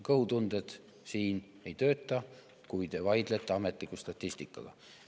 Kõhutunded siin ei tööta, kui te vaidlete ametliku statistikaga.